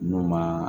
N'u ma